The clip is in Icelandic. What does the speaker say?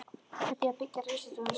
Með því að byggja risastóran stiga?